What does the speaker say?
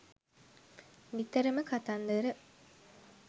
නිතරම කතන්දර